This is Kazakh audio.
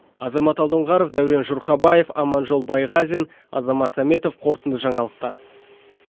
азамат алдоңғаров даурен жұрхабаев аманжол байғазин азамат саметов қорытынды жаңалықтар